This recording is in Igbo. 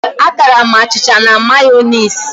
A tara'm achịcha m na Mayonezi